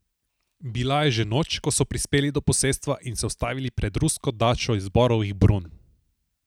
Bila je že noč, ko so prispeli do posestva in se ustavili pred rusko dačo iz borovih brun.